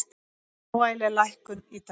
Smávægileg lækkun í dag